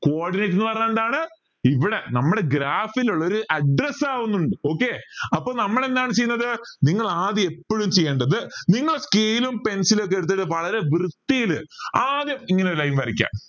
cordinate എന്ന് പറഞ്ഞാൽ എന്താണ് ഇവിടെ നമ്മുടെ graphil ഉള്ളൊരു address ആവുന്നുണ്ട് okay അപ്പോൾ നമ്മൾ എന്താണ് ചെയ്യുന്നത് നിങ്ങൾ ആദ്യം എപ്പോഴും ചെയ്യേണ്ടത് നിങ്ങൾ scale pencil ഒക്കെ എടുത്തിട്ട് വളരെ വൃത്തിയിൽ ആദ്യം ഇങ്ങനെ ഒരു line വരയ്ക്ക